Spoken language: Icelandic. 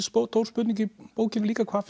stór spurning í bókinni líka hvaða